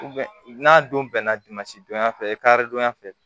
n'a don bɛnna dimansi donya fɛ e kari donya fɛ